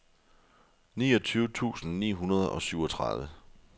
niogtyve tusind ni hundrede og syvogtredive